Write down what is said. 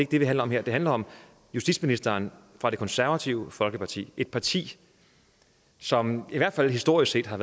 det det handler om her det handler om justitsministeren fra det konservative folkeparti et parti som i hvert fald historisk set har